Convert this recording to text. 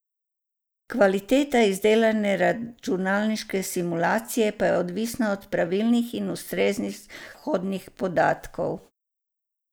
Kvaliteta izdelane računalniške simulacije pa je odvisna od pravilnih in ustreznih vhodnih podatkov.